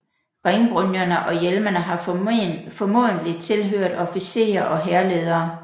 Ringbrynjerne og hjelmene har formodentlig tilhørt officerer og hærledere